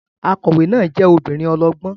Akọ̀wé náà jẹ́ obìnrin ọlọ́gbọ́n